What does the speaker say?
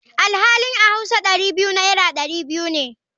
Alhali a hauwa Dari biyu naira dari biyu ne.